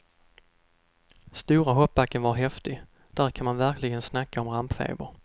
Stora hoppbacken var häftig, där kan man verkligen snacka om rampfeber.